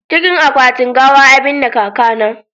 cikin akwatin gawa za a binne kaka na